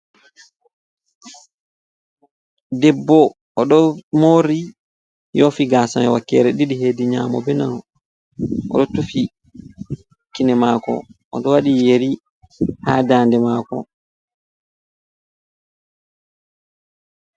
Ɗebbo oɗo mori yoofi gaas ami wakeere ɗiɗi, heddi nyamo benano, oɗo tufi kine maako oɗo waɗi yeri ha daande maako.